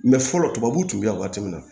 fɔlɔ tubabuw tun bɛ yan waati min na